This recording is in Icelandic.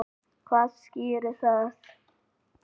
Hvað skýrir það?